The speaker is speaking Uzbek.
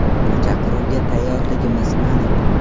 Bu chaqiruvga tayyorligimiz aniq.